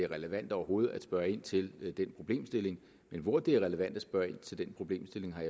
relevant overhovedet at spørge ind til den problemstilling men hvor det er relevant at spørge ind til den problemstilling har